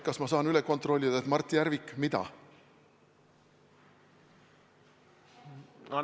Kas ma saan üle kontrollida, et Mart Järvik ... mida?